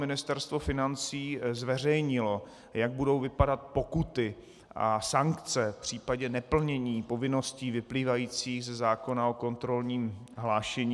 Ministerstvo financí zveřejnilo, jak budou vypadat pokuty a sankce v případě neplnění povinností vyplývajících ze zákona o kontrolním hlášení.